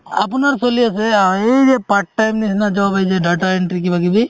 আপোনাৰ চলি আছে আ এই যে part time job এই যে data entry কিবা কিবি